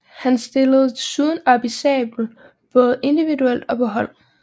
Hans stillede desuden op i sabel både individuelt og på hold